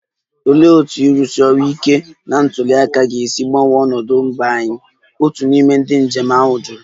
Olee otú ga-esi arụsi ọrụ ike na ntuli aka ga-esi gbanwee ọnọdụ mba anyị? otu n'ime ndị njem ahụ jụrụ